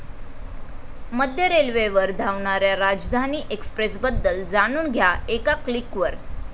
मध्य रेल्वेवर धावणाऱ्या राजधानी एक्सप्रेसबद्दल जाणून घ्या एका क्लिकवर